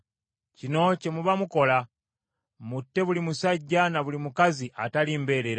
Kino kye muba mukola. Mutte buli musajja na buli mukazi atali mbeerera.”